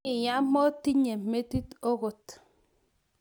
iyaa motinye metit agot.